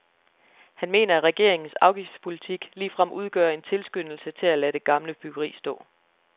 Han mener at regeringens afgiftspolitik ligefrem udgør en tilskyndelse til at lade det gamle byggeri stå.